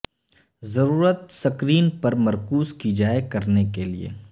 ضرورت سکرین پر مرکوز کی جائے کرنے کے لئے